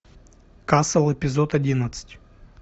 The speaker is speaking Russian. касл эпизод одиннадцать